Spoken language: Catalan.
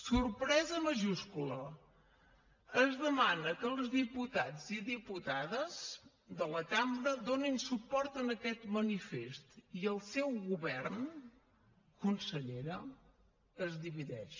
sorpresa majúscula es demana que els diputats i diputades de la cambra donin suport a aquest manifest i el seu govern consellera es divideix